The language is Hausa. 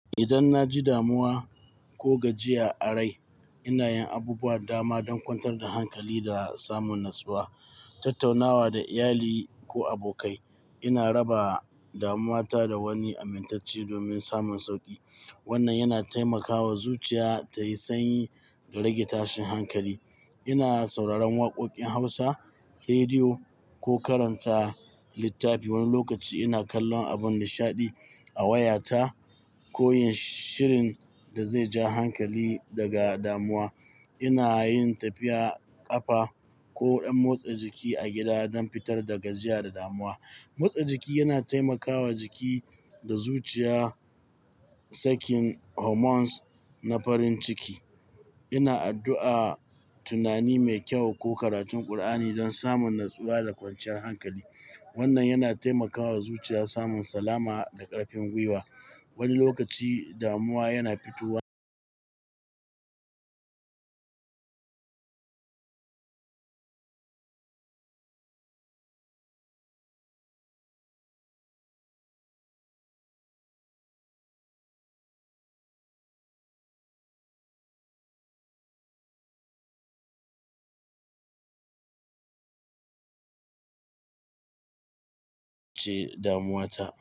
Idan na ji damuwa ko gajiya a rai, ina yin abubuwan dama don kwantar da hankali da samun natsuwa, tattaunawa da iyali ko abokai. Ina raba damuwa ta da wani amintacce domin samun sauƙi. Wannan yana taimakawa zuciya ta yi sanyi da rage tashin hankali. Ina sauraron waƙoƙin Hausa, rediyo ko karanta littafi. Wani lokaci ina kallon abun nishaɗi a wayata ko yin shirin da zai ja hankali daga damuwa. Ina yin tafiya ƙafa ko ɗan motsa jiki a gida don fitar da gajiya da damuwa. Motsa jiki yana taimakawa jiki da zuciya sakin hormones na farin ciki. Ina addu'a, tunani mai kyau ko karatun ƙur'ani don samun natsuwa da kwanciyar hankali. Wannan yana taimakawa zuciya samun salama da ƙarfin gwiwa. Wani lokaci damuwa yana fitowa ji damuwa ta.